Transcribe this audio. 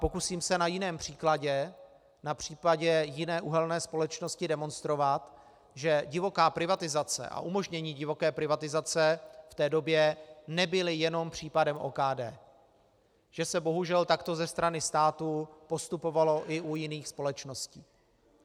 Pokusím se na jiném příkladě, na případě jiné uhelné společnosti, demonstrovat, že divoká privatizace a umožnění divoké privatizace v té době nebyly jenom případem OKD, že se bohužel takto ze strany státu postupovalo i u jiných společností.